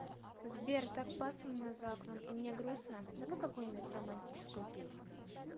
сбер так пасмурно за окном и мне грустно давай какую нибудь романтическую песню